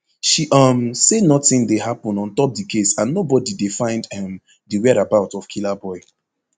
she um say notin dey happun ontop di case and nobody dey find um di whereabout of killaboi